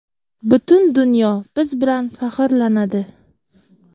Butun dunyo biz bilan faxrlanadi.